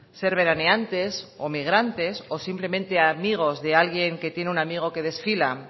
ser veraneantes o migrantes o simplemente amigos de alguien que tiene un amigo que desfila